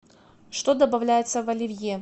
что добавляется в оливье